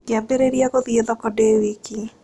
Ngĩambĩrĩria gũthiĩ thoko ndĩ wiki.